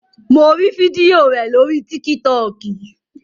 Mo rí fídíò rẹ̀ lórii tíkítọkì